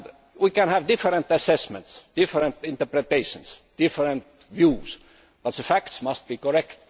We can have different assessments, different interpretations and different views, but the facts must be correct.